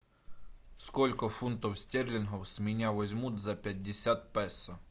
сколько фунтов стерлингов с меня возьмут за пятьдесят песо